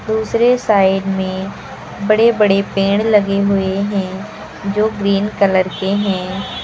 दूसरे साइड में बड़े बड़े पेड़ लगे हुए हैं जो ग्रीन कलर के हैं।